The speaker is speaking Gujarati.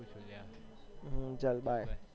હમ્મ ચલ bye